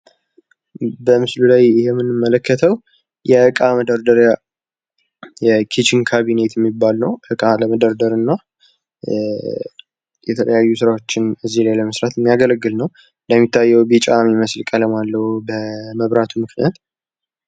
በምስሉ ላይ የመንመለከተው የእቃ መደርደሪያ ኪችን ካቢኔት የሚባለው የተለያዩ ስራዎችን ለመስራት የሚያገለግለው የሚታየው ቢጫ ቀለም አለው በመብራቱ ምክንያት።